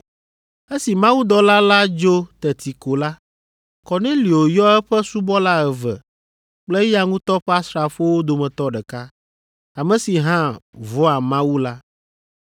Esi mawudɔla la dzo teti ko la, Kornelio yɔ eƒe subɔla eve kple eya ŋutɔ ƒe asrafowo dometɔ ɖeka, ame si hã vɔ̃a Mawu la,